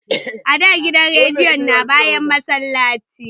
A da gidan rediyon na bayan massallaci